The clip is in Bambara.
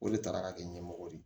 O de taara ka kɛ ɲɛmɔgɔ ye